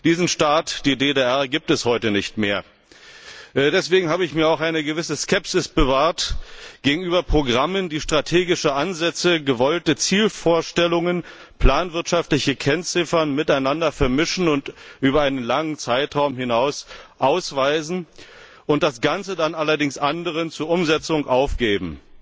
Diesen Staat, die DDR, gibt es heute nicht mehr. Deswegen habe ich mir auch eine gewisse Skepsis gegenüber Programmen bewahrt, die strategische Ansätze, gewollte Zielvorstellungen, planwirtschaftliche Kennziffern miteinander vermischen, über einen langen Zeitraum hinaus ausweisen und das Ganze dann allerdings anderen zur Umsetzung aufgeben.